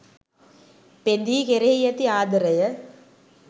පෙඳී කෙරෙහි ඇති ආදරය